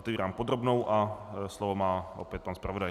Otevírám podrobnou a slovo má opět pan zpravodaj.